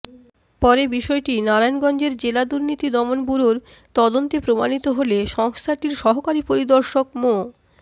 পরে বিষয়টি নারায়ণগঞ্জের জেলা দুর্নীতি দমন ব্যুরোর তদন্তে প্রমাণিত হলে সংস্থাটির সহকারী পরিদর্শক মো